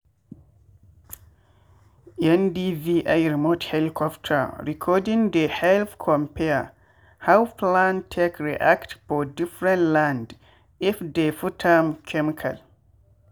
ndvi remote helicopter recording dey help compare how plant take react for differnt land if dey put am chemical.